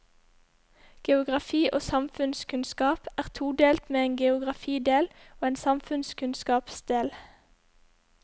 Geografi og samfunnskunnskap er todelt med en geografidel og en samfunnskunnskapsdel.